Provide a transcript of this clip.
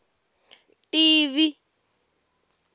tivi